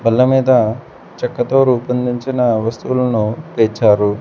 బల్ల మీద చెక్కతో రూపొందించిన వస్తువులును పేర్చారు.